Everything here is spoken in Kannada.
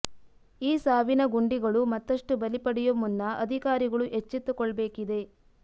ಈ ಸಾವಿನ ಗುಂಡಿಗಳು ಮತ್ತಷ್ಟು ಬಲಿ ಪಡೆಯೋ ಮುನ್ನ ಅಧಿಕಾರಿಗಳು ಎಚ್ಚೆತ್ತು ಕೊಳ್ಬೇಕಿದೆ